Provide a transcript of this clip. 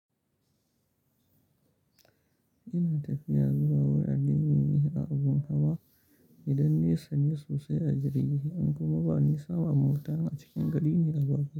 Ina tafiya zuwa wurin ajiye miyi a abun hawa idan nisan ne sosai a jirgi, in kuma bani sama mota a cikin gari ne a bako.